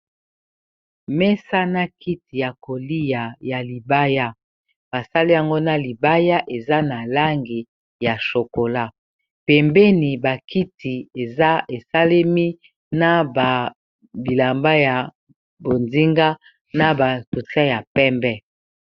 Mesa na kiti ya koliya ya libaya basali yango na libaya eza na langi ya chokola pembeni ba kiti eza esalemi na ba bilamba ya bonzinga na ba portrait ya pembe.